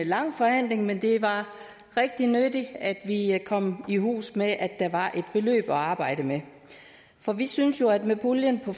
lang forhandling men det var rigtig nyttigt at vi kom i hus med at der var et beløb at arbejde med for vi synes jo at med puljen på